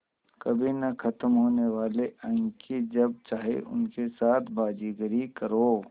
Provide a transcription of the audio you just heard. कभी न ख़त्म होने वाले अंक कि जब चाहे उनके साथ बाज़ीगरी करो